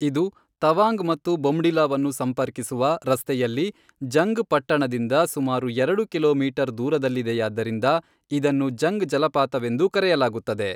ಇದು ತವಾಂಗ್ ಮತ್ತು ಬೊಮ್ಡಿಲಾವನ್ನು ಸಂಪರ್ಕಿಸುವ ರಸ್ತೆಯಲ್ಲಿ ಜಂಗ್ ಪಟ್ಟಣದಿಂದ ಸುಮಾರು ಎರಡು ಕಿಲೋಮೀಟರ್ ದೂರದಲ್ಲಿದೆಯಾದ್ದರಿಂದ ಇದನ್ನು ಜಂಗ್ ಜಲಪಾತವೆಂದೂ ಕರೆಯಲಾಗುತ್ತದೆ.